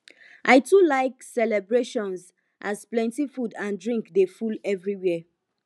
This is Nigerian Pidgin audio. i too like celebrations as plenty food and drink dey full everywhere